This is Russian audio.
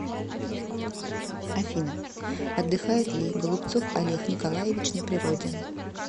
афина отдыхает ли голубцов олег николаевич на природе